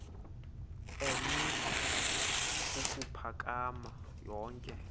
eemitha ukuphakama yonke